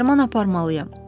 Ona dərman aparmalıyam.